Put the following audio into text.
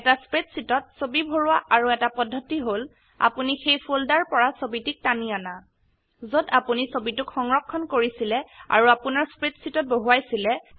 এটা স্প্ৰেডশীটত ছবি ভৰোৱা আৰু এটা পদ্ধতি হল আপোনি সেই ফোল্ডাৰ পৰা ছবিটিক টানি আনা যত আপোনি ছবিটোক সংৰক্ষণ কৰিছিলে আৰু আপোনাৰ স্প্ৰেডশীটত বহুৱাইছিলে